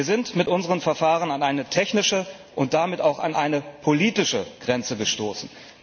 Wir sind mit unseren Verfahren an eine technische und damit auch an eine politische Grenze gestoßen.